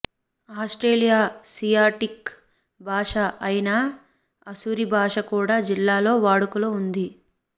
Austroasiatic భాష అయిన అసురి భాష కూడా జిల్లాలో వాడుకలో ఉంది